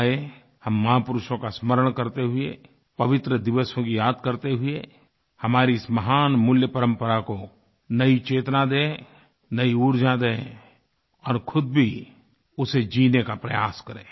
आइए हम महापुरुषों का स्मरण करते हुए पवित्र दिवसों की याद करते हुए हमारी इस महान मूल्य परम्परा को नयी चेतना दें नयी ऊर्जा दें और ख़ुद भी उसे जीने का प्रयास करें